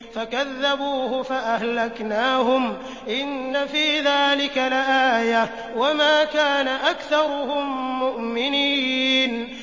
فَكَذَّبُوهُ فَأَهْلَكْنَاهُمْ ۗ إِنَّ فِي ذَٰلِكَ لَآيَةً ۖ وَمَا كَانَ أَكْثَرُهُم مُّؤْمِنِينَ